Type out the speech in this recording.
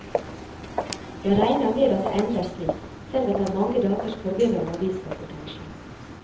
Jeg regner med at det ender slik, selv etter mange dagers forvirrende avisreportasje.